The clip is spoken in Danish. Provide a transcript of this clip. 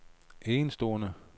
enestående